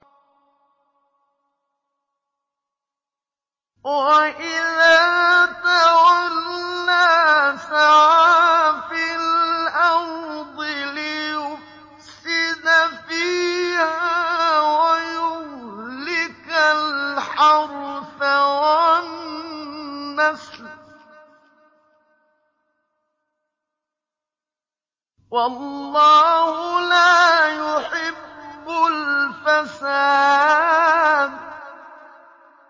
وَإِذَا تَوَلَّىٰ سَعَىٰ فِي الْأَرْضِ لِيُفْسِدَ فِيهَا وَيُهْلِكَ الْحَرْثَ وَالنَّسْلَ ۗ وَاللَّهُ لَا يُحِبُّ الْفَسَادَ